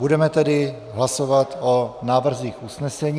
Budeme tedy hlasovat o návrzích usnesení.